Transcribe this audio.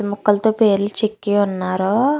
శుద్ద ముక్కలతో పేర్లు చెక్కి ఉన్నారు.